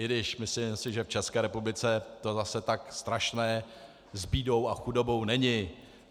I když myslím si, že v České republice to zase tak strašné s bídou a chudobou není.